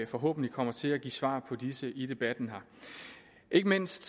forhåbentlig kommer til at give svar på disse i debatten her ikke mindst